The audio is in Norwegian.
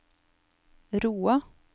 Roa